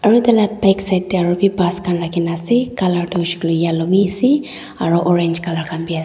aru tar laga back side te aru bhi bus khan rakhi kina ase colour tu yarte yellow bhi ase aru orange colour khan bhi ase.